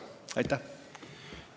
Aitäh!